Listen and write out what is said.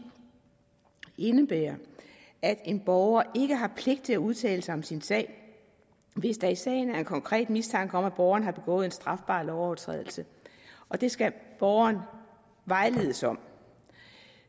indebærer at en borger ikke har pligt til at udtale sig om sin sag hvis der i sagen er en konkret mistanke om at borgeren har begået en strafbar lovovertrædelse og det skal borgeren vejledes om